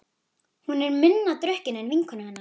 Hún er minna drukkin en vinkona hennar.